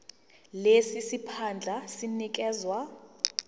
lesi siphandla sinikezwa